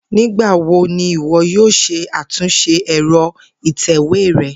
Nigbawo ni iwọ yoo ṣe atunṣe ẹ̀rọ ìtèwé rẹ?